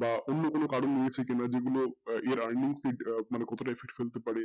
বা অন্য কোনো কারণ আছে কি না যেগুলো এর earning কতটা effect করতে পারে